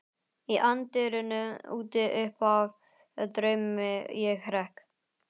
Í anddyrinu úti uppaf draumi ég hrekk.